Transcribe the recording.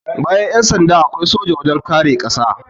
Bayan Yan sanda, akwai soja wajen kare ƙasa